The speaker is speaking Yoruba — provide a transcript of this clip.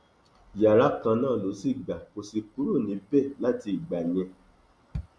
yàrá kan náà ló sì gbà kó sì kúrò níbẹ láti ìgbà yẹn